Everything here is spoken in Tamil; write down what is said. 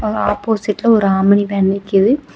அங்க ஆப்போசிட்ல ஒரு ஆம்னி வேன் நிக்குது.